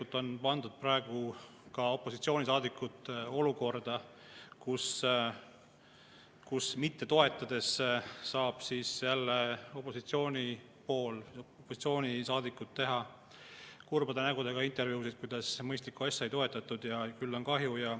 Seda enam on kahju, et opositsioonisaadikud on pandud praegu olukorda, saavad saadikud jälle kurbade nägudega intervjuusid, kuidas mõistlikku asja ei toetatud ja küll on kahju.